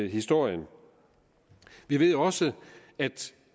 historien vi ved også at